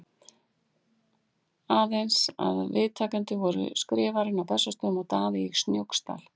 Aðeins að viðtakendur voru Skrifarinn á Bessastöðum og Daði í Snóksdal.